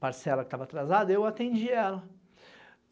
parcela que tava atrasada, eu atendi ela.